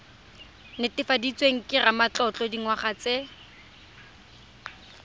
netefaditsweng ke ramatlotlo dingwaga tse